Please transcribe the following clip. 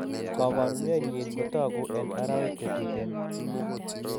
Koporunenyin kotagu en arawek che tuten.